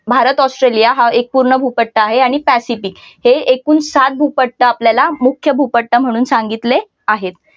भारत-ऑस्ट्रेलिया हा एक पूर्ण भूपट्ट आहे आणि पॅसिफिक हे एकूण सात भूपट्ट आपल्याला मुख्य भूपट्ट म्हणून सांगितले आहेत.